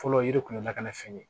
Fɔlɔ yiri kun ye lakanafɛn ye